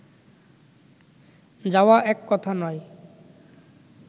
যাওয়া এক কথা নয়